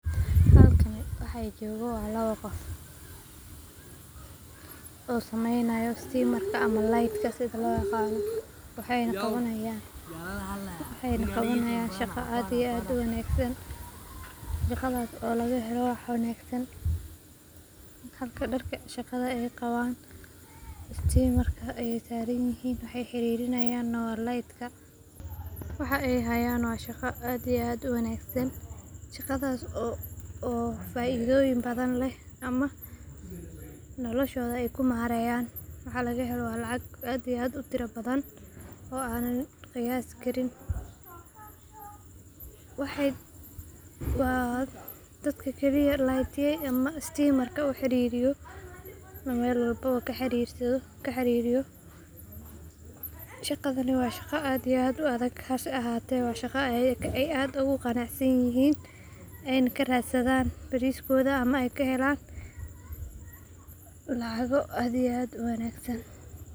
Halkani waxa joogo waa lawa qof oo sameynayo stimarka ama litka. Dayactirka korontada waa shaqo muhiim ah oo u baahan xirfad sare, taxadar badan, iyo qalab casri ah, sababtoo ah ciladaha korontadu waxay sababi karaan dhibaatooyin halis ah sida dab ka kacay, qalab gubtay, ama dhaawacyo naf ahaaneed, sidaa darteed qofka korontada dayactiraya waa inuu hubiyaa in uu xirto qalab ilaalin ah sida galoofyada korontada, kabo dahaadhan, iyo muraayadaha ilaalinta indhaha, sidoo kalena waa inuu isticmaalaa qalab cabbiraad sida multimeter si uu u ogaado meesha ciladu ku jirto, ka hor inta uusan bilaabin wax shaqo ah, sidoo kale waa muhiim in korontada laga jaro meesha laga shaqaynayo si looga hortago shil kasta oo dhici kara, marka la ogaado meesha ay ciladu ku jirto, qofka korontada hagaajinaya waa inuu si taxaddar leh u beddelaa fiilooyinka jabay, xiro xargaha dabacsan, oo hubiyaa in dhammaan isku xirka korontada ay ammaan yihiin, ugu dambeyntiina, waa inuu tijaabiyaa nidaamka si uu u xaqiijiyo in uu si caadi ah u shaqeynayo, taas oo ah tallaabo muhiim u ah badbaadada guriga ama goobta shaqada.